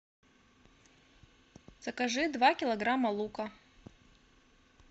закажи два килограмма лука